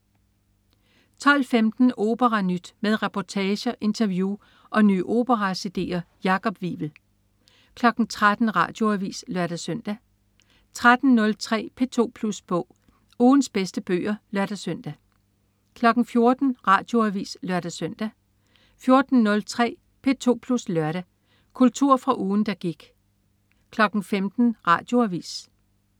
12.15 OperaNyt. Med reportager, interview og nye opera-cd'er. Jakob Wivel 13.00 Radioavis (lør-søn) 13.03 P2 Plus Bog. Ugens bedste bøger (lør-søn) 14.00 Radioavis (lør-søn) 14.03 P2 Plus Lørdag. Kultur fra ugen, der gik 15.00 Radioavis